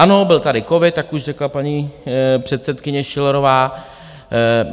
Ano, byl tady covid, tak už řekla paní předsedkyně Schillerová.